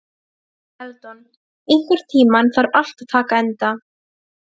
Eldon, einhvern tímann þarf allt að taka enda.